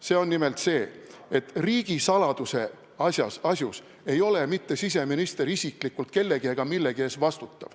See on nimelt see, et riigisaladuse asjus ei vastuta siseminister isiklikult kellegi ega millegi ees.